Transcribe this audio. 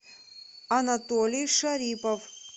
анатолий шарипов